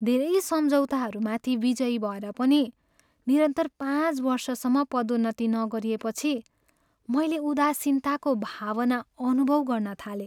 धेरै सम्झौताहरूमाथि बिजयी भएर पनि निरन्तर पाँच वर्षसम्म पदोन्नती नगरिएपछि मैले उदासीनताको भावना अनुभव गर्न थालेँ।